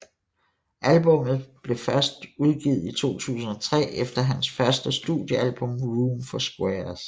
Albummet blev udgivet i 2003 efter hans første studiealbum Room for Squares